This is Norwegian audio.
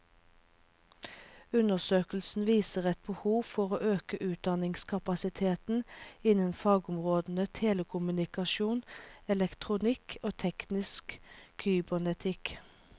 Undersøkelsen viser et behov for å øke utdanningskapasiteten innen fagområdene telekommunikasjon, elektronikk og teknisk kybernetikk.